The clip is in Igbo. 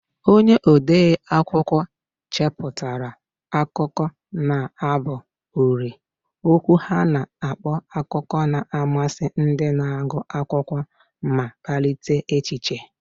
Onye ode akwụkwọ chepụtara akụkọ na abụ uri, okwu ha na-akpa akụkọ na-amasị ndị na-agụ akwụkwọ ma kpalite echiche.